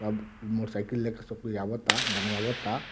सब near cycle लेके सब कोई आवता बनवाता --